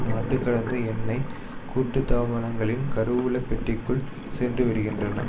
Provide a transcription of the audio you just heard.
நாட்டுகடந்த எண்ணெய் கூட்டுத்தாபனங்களின் கருவூல பெட்டிக்குள் சென்றுவிடுகின்றன